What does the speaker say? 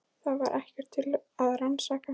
Það var ekkert til að rannsaka.